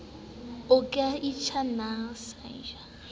uke ichi ni san ji